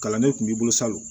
Kalandenw kun b'i bolo salon